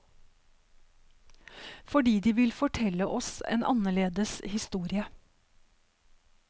Fordi de vil fortelle oss en annerledes historie.